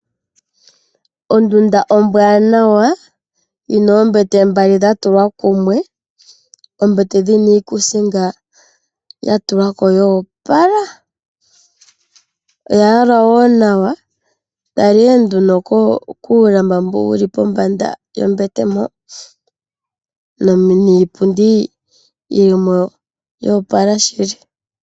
Ondunda ombwaanawa yi na oombete mbali dha tulwa kumwe, oombete dhi na iikuusinga ya tulwa ko yoopala! Odha yalwa wo nawa. Tala ihe nduno kuulamba mbo wuli pombanda yombete mpo. Niipundi yili mo yoopala shili.